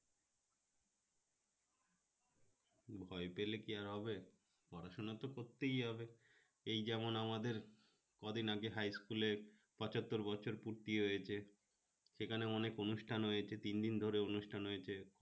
ভয় পেলে কি আর হবে পড়াশোনা তো করতেই হবে এই যেমন আমাদের কদিন আগে high school এর পচাত্তোর বছরপূর্তি হয়েছে সেখানে অনেক অনুষ্ঠান হয়েছে তিন দিন ধরে অনুষ্ঠান হয়েছে